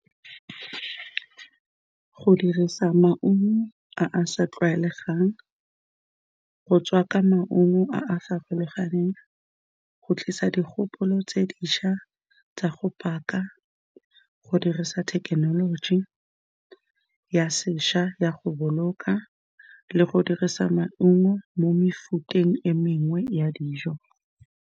Go dirisa maungo a a sa tlwaelegang, go tswa ka maungo a a farologaneng, go tlisa dikgopolo tse dintšha tsa go paka, go dirisa thekenoloji ya sešwa ya go boloka le go dirisa maungo mo mefuteng e mengwe ya dijo.